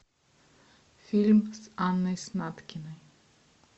фильм с анной снаткиной